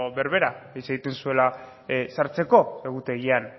berbera hitz egiten zuela sartzeko egutegian